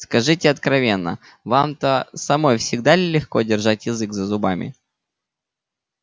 скажите откровенно вам-то самой всегда ли легко держать язык за зубами